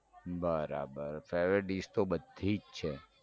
બરાબર favourite તો બધી જ છે.